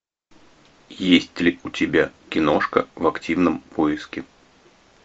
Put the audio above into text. есть ли у тебя киношка в активном поиске